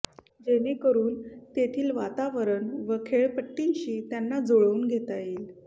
जेणेकरून तेथील वातावरण व खेळपट्टय़ांशी त्यांना जुळवून घेता येईल